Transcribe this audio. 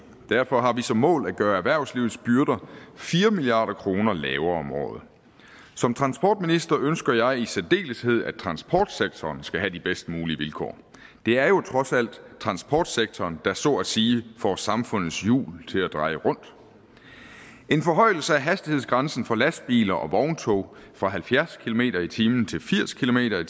derfor har vi som mål at gøre erhvervslivets byrder fire milliard kroner lavere om året som transportminister ønsker jeg i særdeleshed at transportsektoren skal have de bedst mulige vilkår det er jo trods alt transportsektoren der så at sige får samfundets hjul til at dreje rundt en forhøjelse af hastighedsgrænsen for lastbiler og vogntog fra halvfjerds kilometer per time til firs kilometer